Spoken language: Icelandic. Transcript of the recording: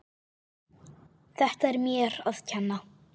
Þetta er mér að kenna.